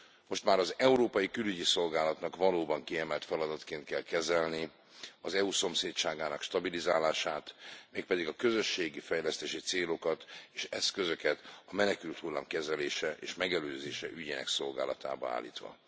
Most már az Európai Külügyi Szolgálatnak valóban kiemelt feladatként kell kezelnie az EU szomszédságának stabilizálását, mégpedig a közösségi fejlesztési célokat és eszközöket a menekülthullám kezelése és megelőzése ügyének szolgálatába állítva.